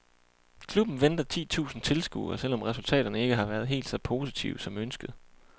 Klubben venter ti tusind tilskuere, selv om resultaterne ikke har været helt så positive som ønsket.